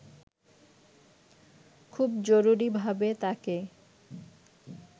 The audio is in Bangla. খুব জরুরিভাবে তাকে